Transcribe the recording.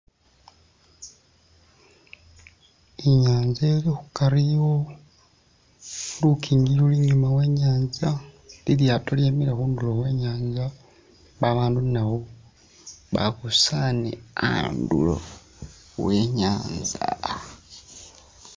Inyanza ili khukari iwo lukingi luli inyuma wenyanza ilyaato lyemele khundulo khwenyanza babandu naabo babusaane a'andu awo wenyanza